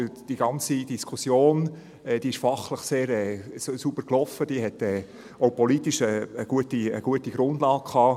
Denn die ganze Diskussion lief fachlich sehr sauber und hatte politisch eine gute Grundlage.